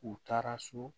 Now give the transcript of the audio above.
U taara so